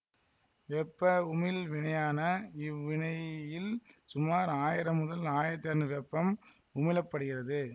வெப்ப உமிழ் வினையான இவ்வினையில் சுமார் ஆயிரம் முதல் ஆயிரத்தி அறநூறு வெப்பம் உமிழப்படுகிறது